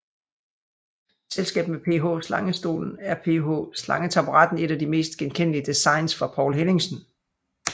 I selskab med PH Slangestolen er PH slangetaburetten et af de mest genkendelige designs fra Poul Henningsen